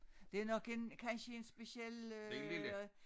Det er nok en kansje en speciel øh